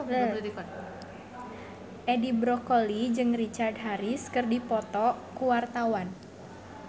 Edi Brokoli jeung Richard Harris keur dipoto ku wartawan